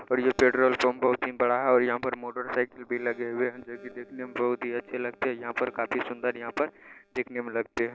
और ये petrol pump बहुत ही बड़ा है और यहाँ पर मोटर साइकिल भी लगे हुए है जो की देखने में बहुत ही अच्छे लगते है यहाँ पर काफी सुंदर यहाँ पर देखने में लगते है।